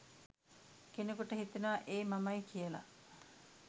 කෙනෙකුට හිතෙනවා ඒ මමයි කියලා.